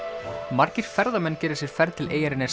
margir ferðamenn gera sér ferð til eyjarinnar